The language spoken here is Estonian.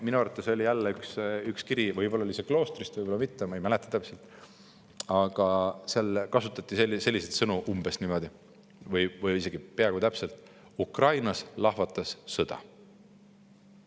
Minu arvates oli veel üks kiri – võib-olla see tuli ka kloostrist, võib-olla mitte, ma ei mäleta täpselt –, kus kasutati umbes selliseid sõnu või isegi oligi täpselt selline tekst: "Ukrainas lahvatas sõda.